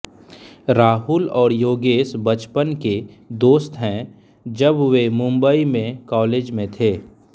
राहुल और योगेश बचपन के दोस्त हैं जब वे मुंबई में कॉलेज में थे